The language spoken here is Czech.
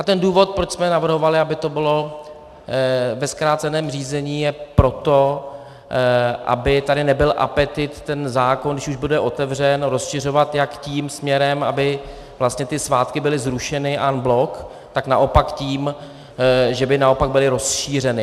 A ten důvod, proč jsme navrhovali, aby to bylo ve zkráceném řízení, je proto, aby tady nebyl apetit ten zákon, když už bude otevřen, rozšiřovat jak tím směrem, aby vlastně ty svátky byly zrušeny en bloc, tak naopak tím, že by naopak byly rozšířeny.